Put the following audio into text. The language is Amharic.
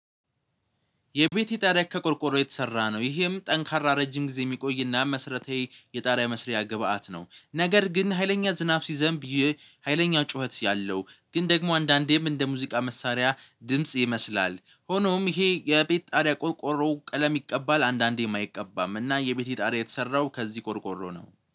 የቤቴ ጣሪያ ከቆርቆሮ የተሰራ ነው ይህም ጠንካራ ረጅም ጊዜ የሚቆይና መሰረታዊ የጣሪያ መስሪያ ግብአት ነው። ነገር ግን ሀይለኛ ዝናብ ሲዘንብ ይህ ሀይለኛ ጩኸት ያለው ግን ደግሞ አንዳንዴም እንደ ሙዚቃ መሳሪያ ድምጽ ይመስላል። ሆኖም ይሄ የቤት ጣሪያ ቆርቆሮ ቀለም ይቀባል አንዳንዴም አይቀባም እና የቤት ጣሪያ የተሰራው ከዚህ ቆርቆሮ ነው